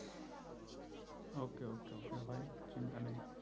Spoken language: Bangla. okay okay okay by চিন্তা নেই